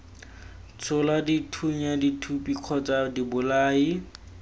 tshola dithunya dithuthupi kgotsa dibolai